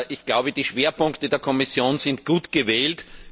Ich glaube, die Schwerpunkte der Kommission sind gut gewählt.